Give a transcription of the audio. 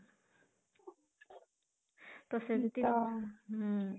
ତ ସେମିତି ଅଂ ହୁଁ